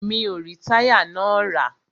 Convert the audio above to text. Mi o rí táyà náà rà.